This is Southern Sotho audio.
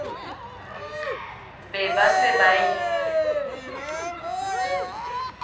be ba se ba e